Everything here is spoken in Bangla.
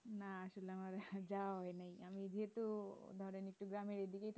না আসলে আমার যাওয়া হয় নাই যেহেতু ধরেন একটু গ্রামের এদিকেই